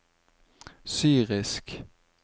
syrisk